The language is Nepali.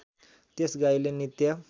त्यस गाईले नित्य